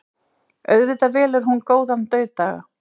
Auðvitað velur hún góðan dauðdaga.